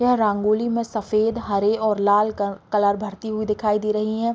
यह रंगोली में सफ़ेद हरे और लाल कलर भरती हुई दिखाई दे रही हैं।